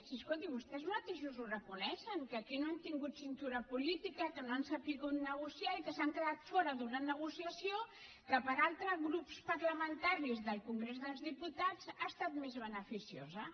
si escolti vostès mateixos ho reconeixen que aquí no han tingut cintura política que no han sabut negociar i que s’han quedat fora d’una negociació que per a altres grups parlamentaris del congrés dels diputats ha estat més beneficiosa